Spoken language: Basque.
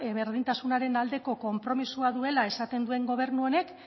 berdintasunaren aldeko konpromisoa duela esaten duen gobernu honek